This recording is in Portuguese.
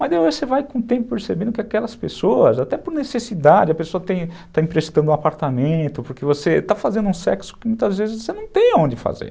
Mas depois você vai com o tempo percebendo que aquelas pessoas, até por necessidade, a pessoa está emprestando um apartamento, porque você está fazendo um sexo que muitas vezes você não tem onde fazer.